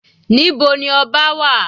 Níbo ni ọba wà?